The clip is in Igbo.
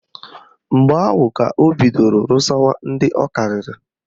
Mgbe ahụ ka o bidoro rụsawa ndị ọ karịrị